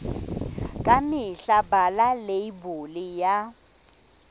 ka mehla bala leibole ya